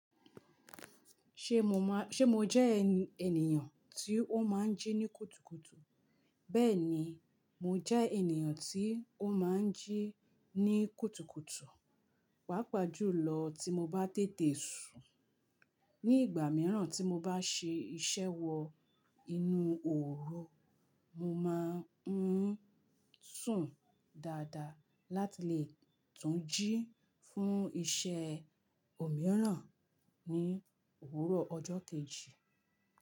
Ṣé mo má, ṣé mo jẹ́ ènìyàn tí ó má ń jí ní kùtùkùtù? Bẹ́ẹ̀ni, mo jẹ́ ènìyàn tí ó má ń jí ní kùtùkùtù, pàápàá jùlọ tí mo bá tètè sùn. Ní ìgbà mìíràn tí mo bá ṣe iṣẹ́ wọ inú òru, mo máa ń sùn dáadáa láti lè tún jí fún iṣẹ́ òmíràn ní òwúrọ̀ ọjọ́ kejì.